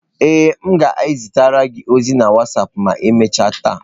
Ee, m ga-ezitere gị ozi na wasapụ ma emechaa taa.